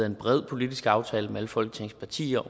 en bred politisk aftale mellem alle folketingets partier